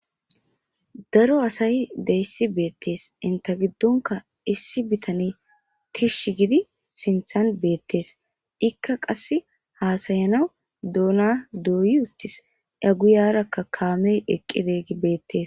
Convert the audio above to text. Daro asay deyssi beettees inta giddonka issi bitane tish gidi sinthan beettees ikka qass haasayanaw doona dooyi uttis aguyarakka kaamey eqqide gi beettes.